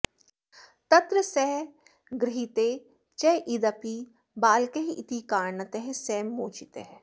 तत्र सः गृहीतः चेदपि बालकः इति कारणतः सः मोचितः